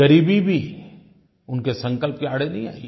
ग़रीबी भी उनके संकल्प के आड़े नहीं आई